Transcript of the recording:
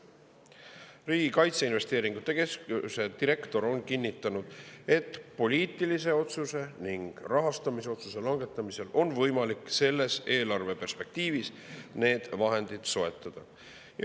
Riigi Kaitseinvesteeringute Keskuse direktor on kinnitanud, et poliitilise otsuse ning rahastamisotsuse langetamisel on võimalik selles eelarveperspektiivis need vahendid soetada.